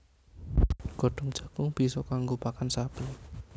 Godhong jagung bisa kanggo pakan sapi